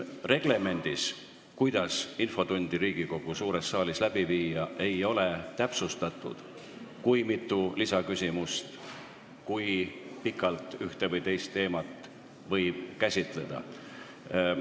Reglemendis, kuidas infotundi Riigikogu suures saalis läbi viia, ei ole täpsustatud, kui mitu lisaküsimust võib esitada ja kui pikalt ühte või teist teemat võib käsitleda.